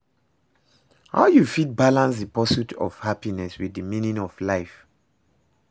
How you fit balance di pursuit of happiness with di meaning of life?